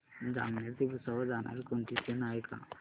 जामनेर ते भुसावळ जाणारी कोणती ट्रेन आहे का